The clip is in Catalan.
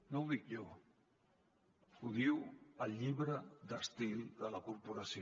no ho dic jo ho diu el llibre d’estil de la corporació